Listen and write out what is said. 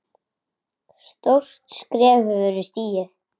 Stórt skref hefur verið stigið.